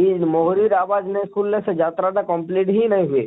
ଇ ମୁହୁରୀର ଆବାଜ ନେଇ ସୁନଲେ ସେ ଯାତ୍ରା ଟା complete ହିଁ ନେଇ ହୁଏ,